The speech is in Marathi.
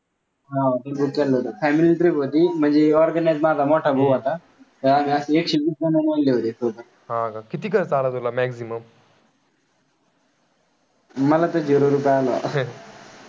मला तर zero रुपये आला.